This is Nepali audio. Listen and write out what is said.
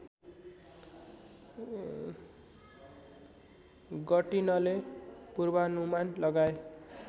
गर्टिनले पूर्वानुमान लगाए